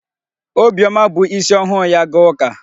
Obiọma bu isi ọhụụ ya gaa ụka.